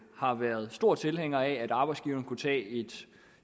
har været store tilhængere af at arbejdsgiverne kunne tage et